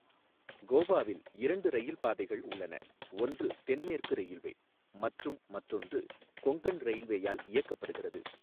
கோவாவில் இரண்டு ரயில் பாதைகள் உள்ளன, ஒன்று தென்மேற்கு ரயில்வே மற்றும் மற்றொன்று கொங்கன் ரயில்வேயால் இயக்கப்படுகிறது.